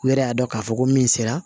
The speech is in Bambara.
U yɛrɛ y'a dɔn k'a fɔ ko min sera